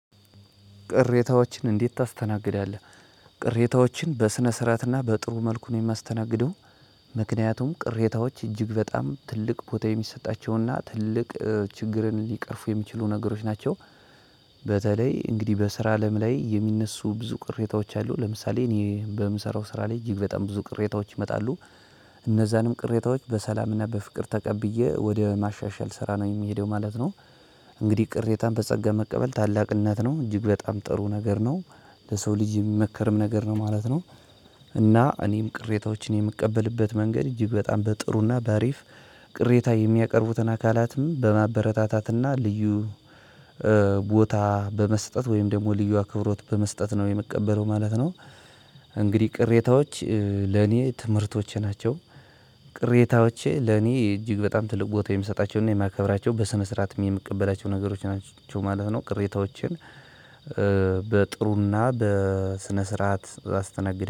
ቅሬታዎችን እንዴት ታስተናግዳለህ? ቅሬታዎችን በስነስርዐት እና በጥሩ መልኩ ነው የማስተናግደው። ምክንያቱም ቅሬታዎች እጅግ በጣም ትልቅ ቦታ የሚሰጣቸውና ትልቅ ችግርን ሊቀርፉ የሚችሉ ነገሮች ናቸው። በተለይ እንግዲህ በስራ አለም ላይ የሚነሱ ብዙ ቅሬታዎች አሉ። ለምሳሌ እኔ በምሰራው ስራ ላይ እጅግ በጣም ብዙ ቅሬታዎች ይመጣሉ። እነዛንም ቅሬታዎች በሰላምና በፍቅር ተቀብዬ ወደ ማሻሻል ስራ ነው የምሄደው ማለት ነው። እንግዲህ ቅሬታን በጸጋ መቀበል ታላቅነት ነው እጅግ በጣም ጥሩ ነገር ነው። ለሰው ልጅ የሚመከርም ነገር ነው ማለት ነው። እና እኔም ቅሬታዎችን የምቀበልበት መንገድ እጅግ በጣም በጥሩና በአሪፍ ቅሬታ የሚያቀርቡትን አካላትም በማበረታታትና ልዩ ቦታ በመስጠት ወይም ደግሞ ልዩ አክብሮት በመስጠት ነው የምቀበለው ማለት ነው። እንግዲህ ቅሬታዎች ለኔ ትምህርቶቼ ናቸው። ቅሬታዎቼ ለኔ እጅግ በጣም ትልቅ ቦታ የምሰጣቸውንና የማከብራቸው በስነ ስርዓትም የምቀበላቸው ነገሮች ናቸው ማለት ነው። ቅሬታዎችን በጥሩና በስነ ስርዓት አስተናግደናለው